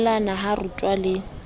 nyalanngwa ha di rutwa le